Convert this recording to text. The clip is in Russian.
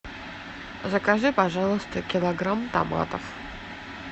закажи пожалуйста килограмм томатов